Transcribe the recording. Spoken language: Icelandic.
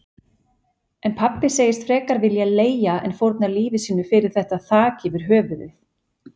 En pabbi segist frekar vilja leigja en fórna lífi sínu fyrir þetta þak yfir höfuðið.